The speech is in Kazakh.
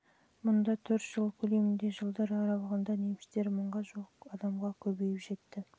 мұнда төрт жыл көлемінде жылдар аралығында немістер мыңға жуық адамға көбейіп жетті